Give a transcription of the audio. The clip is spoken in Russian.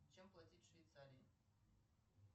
чем платить в швейцарии